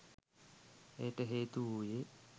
එයට හේතු වූයේ